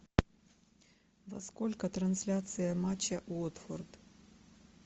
во сколько трансляция матча уотфорд